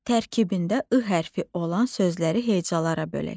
Tərkibində ı hərfi olan sözləri hecalara bölək.